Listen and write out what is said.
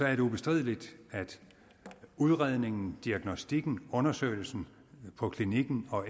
er det ubestrideligt at udredningen diagnostikken undersøgelsen på klinikken